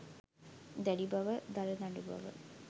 දැඩි බව, දරදඬු බව